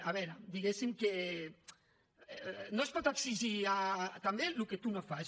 a veure diguéssim que no es pot exigir també el que tu no fas